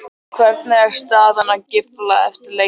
Hvernig er staðan á Gylfa eftir leikinn?